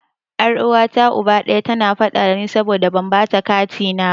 Yar uwata Uba ɗaya, tana faɗa dani saboda ban bata katina na ba.